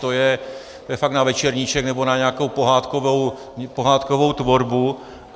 To je fakt na večerníček nebo na nějakou pohádkovou tvorbu.